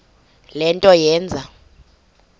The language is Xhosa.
le nto yenze